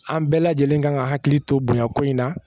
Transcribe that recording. An bɛɛ lajɛlen kan ka hakili to bonya ko in na